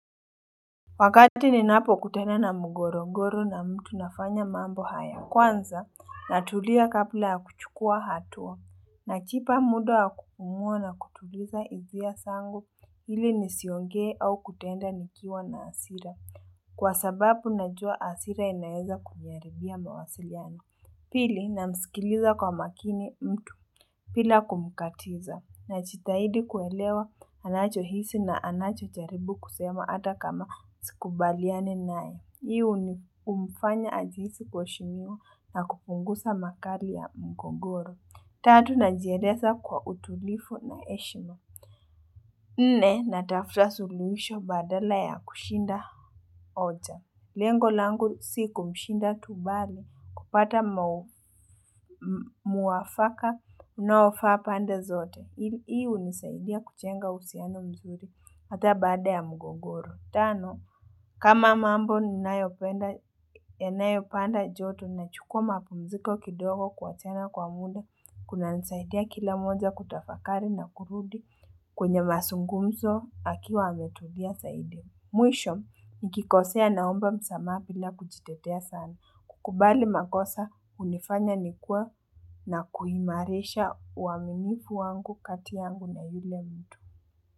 Wakati ninapo kutena na mgorogoro na mtu nafanya mambo haya kwanza na tulia kabla ya kuchukua hatua na chipa muda wa kupumua na kutuliza izia sangu hili nisiongee au kutenda nikiwa na asira kwa sababu najua asira inaeza kuniaribia mawasiliano Pili na msikiliza kwa makini mtu pila kumukatiza na chitahidi kuelewa anacho hisi na anacho jaribu kusema ata kama sikubaliani nae. Hiu ni umfanya ajihisi kuheshimiwa na kupungusa makari ya mgogoro. Tatu na jiereza kwa utulifu na eshima. Nne natafuta suluhisho badala ya kushinda oja. Lengo langu si kumshinda tubali kupata muwafaka unaofaa pande zote. Hii unisaidia kuchenga usiano mzuri hata baada ya mgogoro. Tano, kama mambo ni nayopenda yanayopanda joto na chukua mapumziko kidogo kwa tena kwa muda. Kuna nisaidia kila moja kutafakari na kurudi kwenye masungumzo akiwa ametulia saidi. Mwisho, nikikosea naomba msamaha pila kujitetea sana. Kubali makosa unifanya nikue na kuimarisha uamimifu wangu kati yangu na yule mtu.